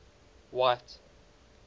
white